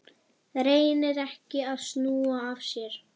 Reynir ekki að snúa hann af sér.